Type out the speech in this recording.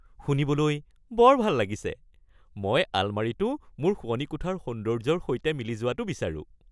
শুনিবলৈ বৰ ভাল লাগিছে! মই আলমাৰীটো মোৰ শোৱনি কোঠাৰ সৌন্দৰ্যৰ সৈতে মিলি যোৱাটো বিচাৰোঁ।